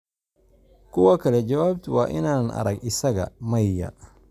Kuwa kale, jawaabtu waa inaanan arag isaga: "Maya."